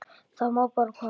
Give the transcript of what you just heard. Það má bara koma.